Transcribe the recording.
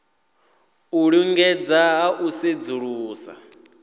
u lingedza ha u sedzulusa